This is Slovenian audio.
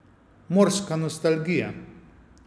Morska nostalgija.